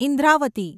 Indravati